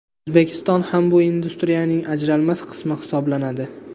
O‘zbekiston ham bu industriyaning ajralmas qismi hisoblanadi.